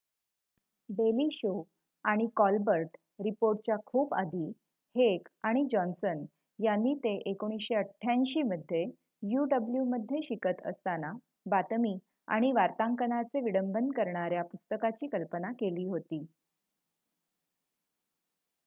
daily Show आणि Colbert रिपोर्टच्या खूप आधी हेक आणि जॉन्ससन यांनी ते १९८८ मध्ये uw मध्ये शिकत असताना बातमी आणि वार्तांकनाचे विडंबन करणाऱ्या पुस्तकाची कल्पना केली होती